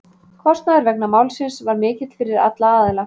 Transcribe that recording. Kostnaður vegna málsins var mikill fyrir alla aðila.